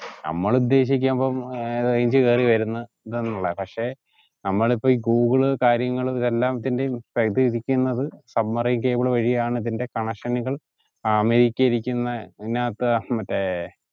നമ്മളുദ്ദേശിക്കുമ്പം ഏർ range കേറി വെര്ന്ന ന്നിളേ പക്ഷെ നമ്മളിപ്പോ ഈ ഗൂഗിൾ കാര്യങ്ങൾ ഇതെല്ലത്തിന്റെയും പരിധിക്കിരിക്കുന്നത് submarine cable വഴിയാണ് ഇതിന്റെ connection കൾ അമേരിക്കയിലിരിക്കുന്ന അതിനകത്തെ മറ്റ ഏർ